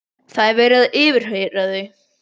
Það er verið að yfirheyra þau.